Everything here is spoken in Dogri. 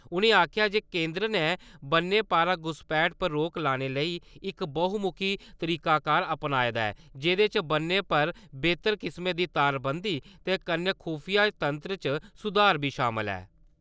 उ'नें आखेआ जे केंदर ने बन्ने पारा घुसपैठ पर रोक लाने लेई इक बहुमुखी तरीकाकार अपनाएं दा ऐ जेह्दे च ब'न्ने पर बेहतर किस्मै दी तारबन्दी ते कन्नै खुफिया तंत्र च सुधार बी शामल ऐ।